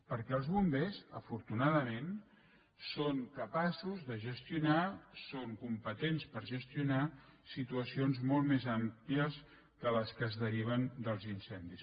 perquè els bombers afortunadament són capaços de gestionar són competents per gestionar situacions molt més àmplies que les que es deriven dels incen·dis